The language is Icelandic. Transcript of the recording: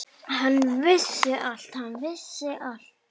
Hann vissi allt.